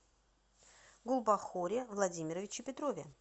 гулбахоре владимировиче петрове